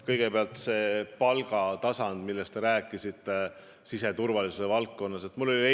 Kõigepealt palgatasandist siseturvalisuse valdkonnas, millest te rääkisite.